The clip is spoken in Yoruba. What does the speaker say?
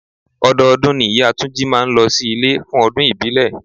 Ọdọọdún ni ìyá túnjí máa ń ló sí ilé fún ọdún ìbílẹ̀.